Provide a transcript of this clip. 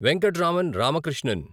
Venkatraman Ramakrishnan